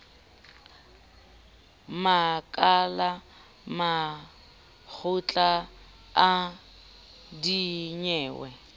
makala a makgotla a dinyewe